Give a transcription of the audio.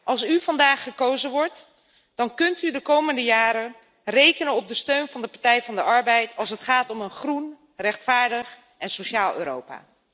Als u vandaag gekozen wordt, dan kunt u de komende jaren rekenen op de steun van de Partij van de Arbeid als het gaat om een groen, rechtvaardig en sociaal Europa.